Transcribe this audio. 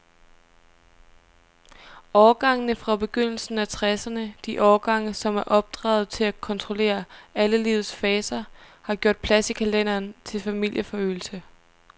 Årgangene fra begyndelsen af tresserne, de årgange, som er opdraget til at kontrollere alle livets faser, har gjort plads i kalenderen til familieforøgelse.